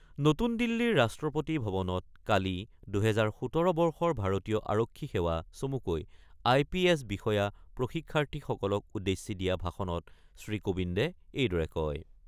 নতুন দিল্লীৰ ৰাষ্ট্ৰপতি ভৱনত কালি ২০১৭ বৰ্ষৰ ভাৰতীয় আৰক্ষী সেৱা চমুকৈ আই পি এছ বিষয়া প্ৰশিক্ষাৰ্থীসকলক উদ্দেশ্যি দিয়া ভাষণত শ্ৰীকোবিন্দে এইদৰে কয়।